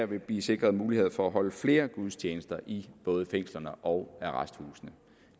vil blive sikret mulighed for at holde flere gudstjenester i både fængsler og arresthuse